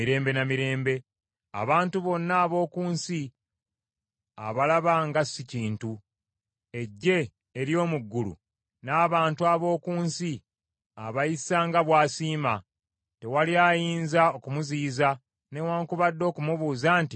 Abantu bonna ab’oku nsi abalaba nga si kintu, eggye ery’omu ggulu n’abantu ab’oku nsi abayisa nga bw’asiima. Tewali ayinza okumuziyiza, newaakubadde okumubuuza nti, “Okola ki?”